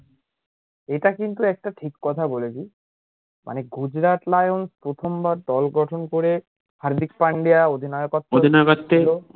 এটা কিন্তু একটা ঠিক কথা বলেছিস মানে গুজরাট লায়ন্স প্রথমবার দল গঠন করে হার্দিক পান্ডিয়া অধিনায়কত্তে